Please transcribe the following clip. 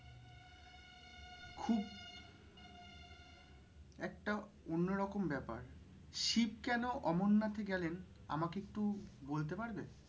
একটা অন্য রকম ব্যাপার শিব কেন অমরনাথে গেলেন আমাকে একটু বলতে পারবে?